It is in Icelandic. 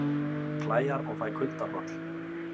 Klæjar og fæ kuldahroll